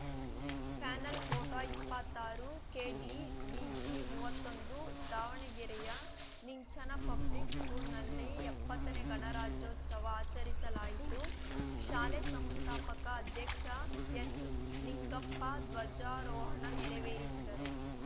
panel photo ಇಪ್ಪತ್ತಾರುಕೆಡಿವಿಜಿಮೂವತ್ತೊಂದು ದಾವಣಗೆರೆಯ ನಿಂಚನ ಪಬ್ಲಿಕ್‌ ಸ್ಕೂಲ್‌ನಲ್ಲಿ ಎಪ್ಪತ್ತನೇ ಗಣರಾಜ್ಯೋಸ್ತವ ಆಚರಿಸಲಾಯಿತು ಶಾಲೆ ಸಂಸ್ಥಾಪಕ ಅಧ್ಯಕ್ಷ ಎಸ್‌ನಿಂಗಪ್ಪ ಧ್ವಜಾರೋಹಣ ನೆರವೇರಿಸಿದರು